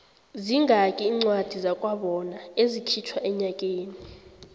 zingaki incwadi zakwabona ezikhitjhwa enyakeni